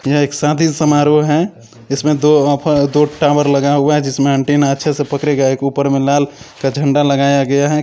यह एक शादी समारोह है इसमें दो ऑफ़ और दो टावर लगा हुआ है जिसमें एंटीना अच्छे से पकड़ेगा ऊपर में एक लाल का झंडा लगाया गया है।